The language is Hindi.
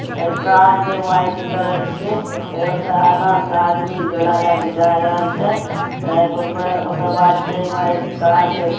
ए कार छे वाइट कलर के फिर ओकर एक आदमी झोला लेक जाय रहेल छे। ऊपर ओकर बाद छे वाइट कार छे |